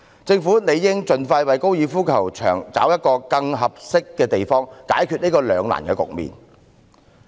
政府應盡快為高爾夫球場物色更合適的地方，解決這個兩難局面。